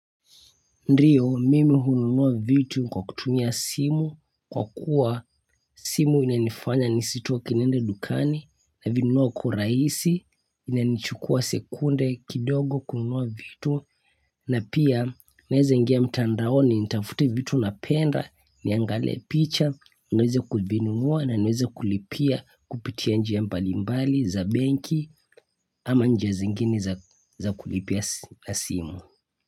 Ndio mimi hununua vitu kwa kutumia simu kwa kuwa simu inanifanya nisitoke niende dukani navinunua kwa urahisi inanichukua sekunde kidogo kununua vitu na pia naweza ingia mtandaoni nitafute vitu napenda niangalie picha niweze kuvinunua na niweza kulipia kupitia njia mbalimbali za benki ama njia zingine za kulipia simu.